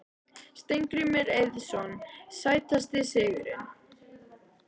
Steingrímur Eiðsson Sætasti sigurinn?